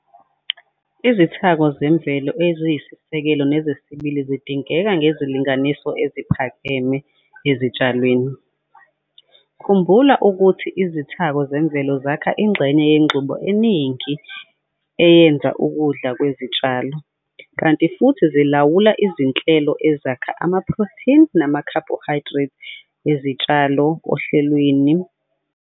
Izithako zemvelo eziyisisekelo nezesibili zidingeka ngezilinganiso eziphakeme ezitshalweni. Khumbula ukuthi izithako zemvelo zakha ingxenye yengxube eningi eyenza ukudla kwezitshalo, kanti futhi zilawula izinhlelo ezakha amaphrotheni namakhabohayidrethi ezitshalo ohlelweni lokudlulisa amandla, energy transfer systems, ezitshalweni.